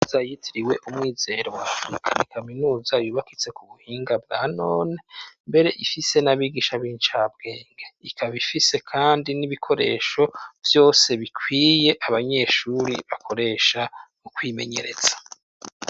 Kaminuza yitiriwe umwizero wa Afrika n'ikaminuza yubakitse ku buhinga bwanone mbere ifise n'abigisha b'inshabwenge ikabifise kandi n'ibikoresho byose bikwiye abanyeshuri bakoresha ukwimenyeretsa.